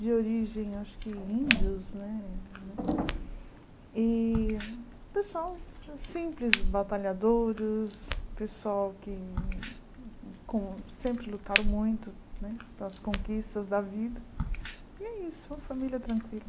de origem acho que índios né, e pessoal simples, batalhadores, pessoal que com sempre lutaram muito né pelas conquistas da vida, e é isso, uma família tranquila.